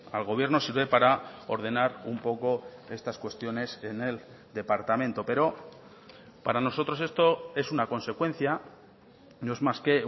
al gobierno sirve para ordenar un poco estas cuestiones en el departamento pero para nosotros esto es una consecuencia no es más que